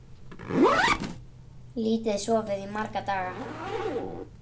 Lítið sofið í marga daga.